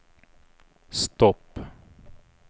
stopp